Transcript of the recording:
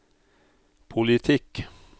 politikk